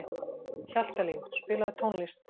Hjaltalín, spilaðu tónlist.